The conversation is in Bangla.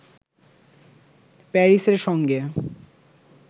প্যারিসের সঙ্গে